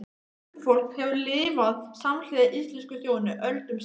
Huldufólk hefur lifað samhliða íslensku þjóðinni öldum saman.